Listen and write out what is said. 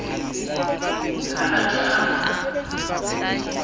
ha a ke a mo